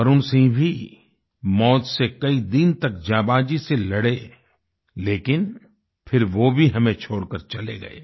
वरुण सिंह भी मौत से कई दिन तक जांबाजी से लड़े लेकिन फिर वो भी हमें छोड़कर चले गए